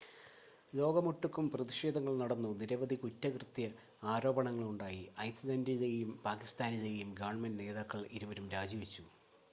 ലോകമൊട്ടുക്കും പ്രതിഷേധങ്ങൾ നടന്നു നിരവധി കുറ്റകൃത്യ ആരോപണങ്ങൾ ഉണ്ടായി ഐസ്ലൻ്റിലെയും പാക്കിസ്ഥാനിലെയും ഗവൺമെൻ്റ് നേതാക്കൾ ഇരുവരും രാജിവെച്ചു